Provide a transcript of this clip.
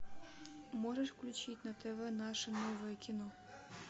можешь включить на тв наше новое кино